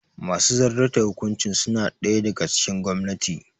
Masu zartar da hukuncin suna ɗaya daga cikin gwamnati